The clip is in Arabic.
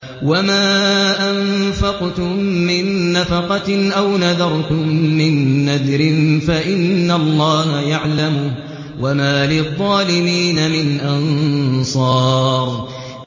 وَمَا أَنفَقْتُم مِّن نَّفَقَةٍ أَوْ نَذَرْتُم مِّن نَّذْرٍ فَإِنَّ اللَّهَ يَعْلَمُهُ ۗ وَمَا لِلظَّالِمِينَ مِنْ أَنصَارٍ